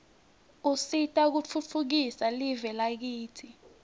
usita kutfutfukisa live lakitsi